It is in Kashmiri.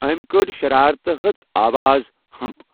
أمۍ کٔڑ شَرارتہٕ ہژ آواز 'ہۭمپھ'!